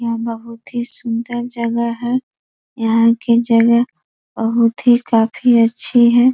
यहाँ बहोत ही सुंदर जगह है यहाँ की जगह बहोत ही काफी अच्छी है।